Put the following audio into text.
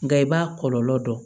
Nka i b'a kɔlɔlɔ dɔn